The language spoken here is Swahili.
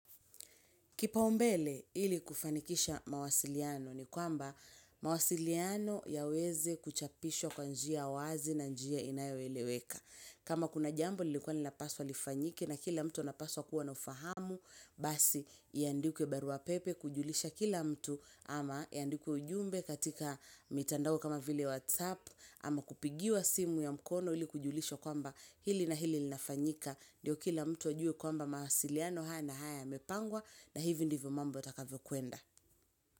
Kipa umbele ili kufanikisha mawasiliano ni kwamba mawasiliano ya weze kuchapisho kwa njia wazi na njia inayo eleweka. Kama kuna jambo lilikuwa nilapaswa lifanyiki na kila mtu napaswa kuwa nafahamu basi iandikuwa baruapepe kujulisha kila mtu ama iandikuwa ujumbe katika mitandao kama vile WhatsApp ama kupigiwa simu ya mkono ili kujulisho kwamba hili na hili nafanyika. Ndiyo kila mtu wajue kwamba mahasiliano haya na haya ya mepangwa na hivyo ndivyo mambo takavyo kuenda.